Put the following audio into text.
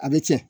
A bɛ tiɲɛ